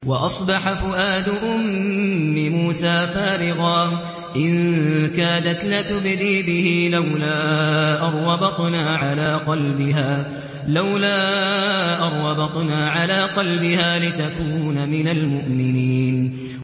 وَأَصْبَحَ فُؤَادُ أُمِّ مُوسَىٰ فَارِغًا ۖ إِن كَادَتْ لَتُبْدِي بِهِ لَوْلَا أَن رَّبَطْنَا عَلَىٰ قَلْبِهَا لِتَكُونَ مِنَ الْمُؤْمِنِينَ